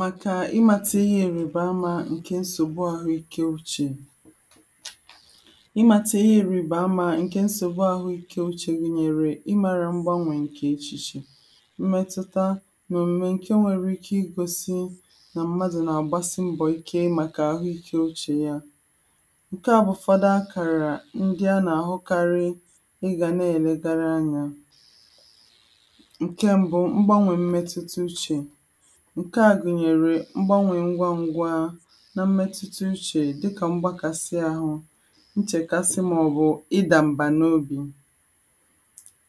màkà ịmata ihe ǹríbaama ǹkè nsògbu ahụike ochiè ịmata ihe ǹribaamà ǹkè nsògbu ahụike ochiè gụ̀nyèrè ị mara mgbanwè ǹkè echichi mmetụta nà òmùme nwere ike igosi nà ḿmádʊ̄ nà àgbásí ḿbɔ̀ íké màkà áhʊ́íké ótʃíè yá ǹkè bụ fada akàrà ndị a nà-ahụkarị ị gà na-elegara anya ǹkè mbụ mgbanwè mmetụta uchè ǹkè ā gụ̀nyere mgbanwè ngwangwa na mmetụta uche dịkà mgbakasị ahụ nchèkasị màọbụ̀ ịdà mbà n'óbì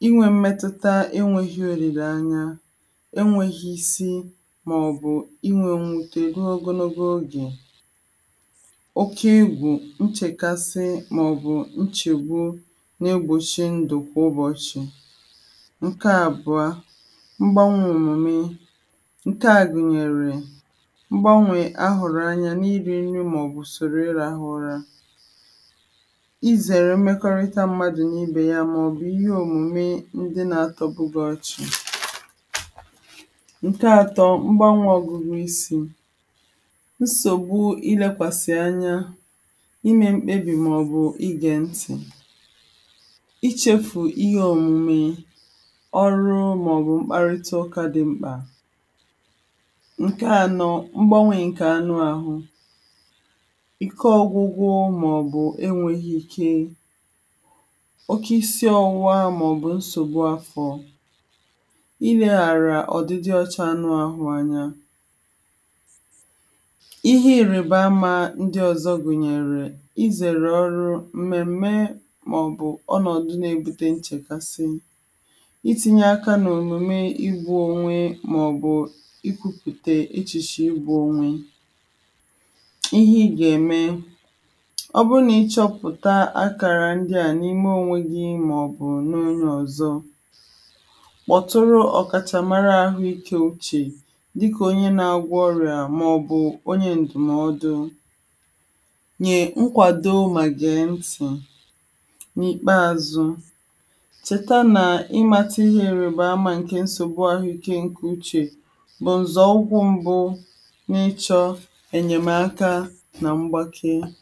inwe mmetụta enweghị òlìleanya enweghị isi màọbụ̀ inwe mwute ruo ogologo ogè oke egwù nchèkasi màọbụ nchègbu na-egbòchi ndụ kwa ụ́bọ̀chị ǹkè àbụọ mgbanwè omume ǹkè gụnyèrè mgbanwè ahụ̀rụ̀ anya n'iri nri màọbụ̀ usòrò ịrahụ ụra i zèrè mmekọrịta mmadụ̄ nà ibè ya màọbụ̀ ihe omume ndị na-atọbụ gị ọchị ǹkè atọ mgbanwè ọ̀gụgụisi nsògbu ilekwàsi anya ímé ḿkpébì màɔ́bʊ́ ígè ńtì ichefù ihe òmìmì ọrụ màọbụ̀ mkparịtaụkà dị mkpà ǹkè anọ mgbanwè ǹkè anụahụ ike ọgwụgwụ màọbụ enweghị ike oke isi ọwụwa màọbụ̀ nsògbu afọ ileghara ọdịdị ọcha ọnụahụ anya ihe iribaama ndịọzọ gụ̀nyèrè izèrè ọrụ mmemme màọbụ̀ ọnọ̀dụ̀ na-ebute nchèkasi itinyeaka n'òmume ịgwọ onwe màọbụ ikwupụ̀ta echìchè ịgwọ onwe ihe ị gà-ème ọ bụrụ na ị chọpụ̀ta akara ndị a n'ime onwe gị maọbụ̀ n'onye ọzọ kpọtụrụ ọ̀kàchamara àhụike ochie dịka onye na-agwọ ọrịa maọbụ onye ndụmọọdụ nyè nkwàdo mà gèe ntì n'ìkpéázʊ́ chèta nà ị mata ihe nribaama nke nsògbu àhụike ǹkè uchè bụ nzọụkwụ mbụ́ n'ịchọ ènyèmaka na mgbake